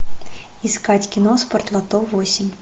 искать кино спортлото восемь